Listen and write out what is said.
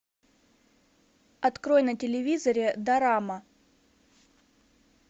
открой на телевизоре дорама